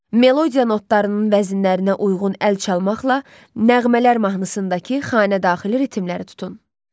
Melodiya notlarının vəznlərinə uyğun əl çalmaqla nəğmələr mahnısındakı xanedaxili ritmləri tutun.